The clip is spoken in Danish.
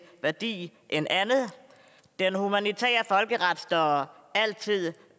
værdi end andet den humanitære folkeret står altid